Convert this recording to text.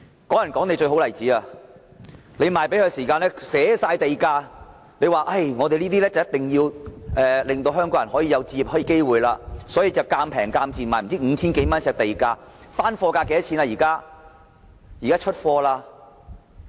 "港人港地"是最好的例子，賣樓的時候寫明地價，政府說一定要令香港人有置業機會，所以便以賤價，如每呎 5,000 多元地價賣樓，但現時的樓價是多少？